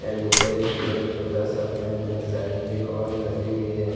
And ऊपर एक एक छोटा सा फैन है साइड में एक और घरी भी है।